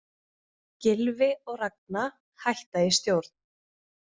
Gylfi og Ragna hætta í stjórn